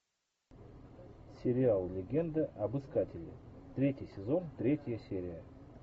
сериал легенда об искателе третий сезон третья серия